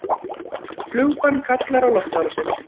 Flugbann kallar á loftárásir